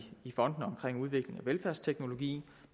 fondene til udvikling af velfærdsteknologi